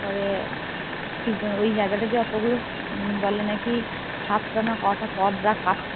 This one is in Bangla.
তারপরে ওই জায়গাটা যে অটো গুলো বলে নাকি সাত তা এ কোটা পদ